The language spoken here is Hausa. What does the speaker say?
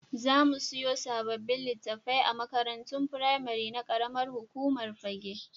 Za mu siyo sababbin litattafai a makarantun firamari na ƙaramar hukumar Fagge.